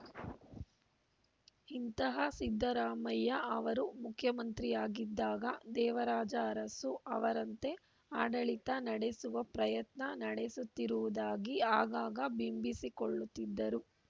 ಇಂತಹ ಸಿದ್ದರಾಮಯ್ಯ ಅವರು ಮುಖ್ಯಮಂತ್ರಿಯಾಗಿದ್ದಾಗ ದೇವರಾಜ ಅರಸು ಅವರಂತೆ ಆಡಳಿತ ನಡೆಸುವ ಪ್ರಯತ್ನ ನಡೆಸುತ್ತಿರುವುದಾಗಿ ಆಗಾಗ ಬಿಂಬಿಸಿಕೊಳ್ಳುತ್ತಿದ್ದರು